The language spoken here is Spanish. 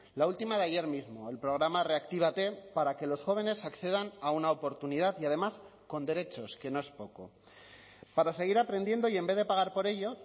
la última de ayer mismo el programa reactívate para que los jóvenes accedan a una oportunidad y además con derechos que no es poco para seguir aprendiendo y en vez de pagar por ello